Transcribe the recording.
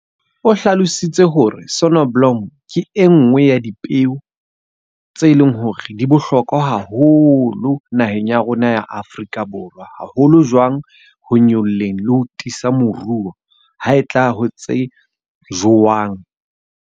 O hlalositse hore sonneblom ke e nngwe ya dipeo tse leng hore di bohlokwa haholo naheng ya rona ya Afrika Borwa. Haholo jwang ho nyoloheng le ho tiisa moruo, ha e tla ho tse jowang.